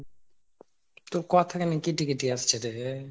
তোর কথা কেমন কেটে কেটে আসছে রে ?